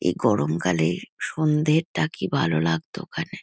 এই গরম কালে সন্ধ্যেটা কি ভালো লাগতো ওখানে।